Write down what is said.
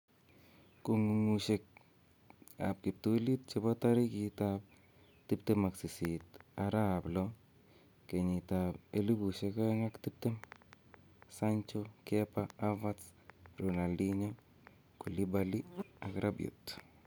Kong'ung'uyosiekab kiptulit chebo tarigit 28/06/2020: Sancho, Kepa, Havertz, Ronaldinho, Koulibay, Rabiot